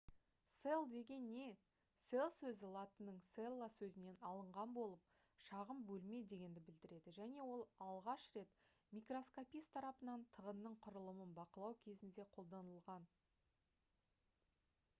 cell деген не cell сөзі латынның cella сөзінен алынған болып шағын бөлме дегенді білдіреді және ол алғаш рет микроскопист тарапынан тығынның құрылымын бақылау кезінде қолданылған